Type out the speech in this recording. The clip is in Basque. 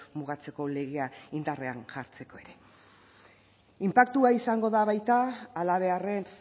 mugatzeko legea indarrean jartzeko ere inpaktua izango da baita halabeharrez